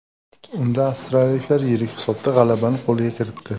Unda avstriyaliklar yirik hisobdagi g‘alabani qo‘lga kiritdi.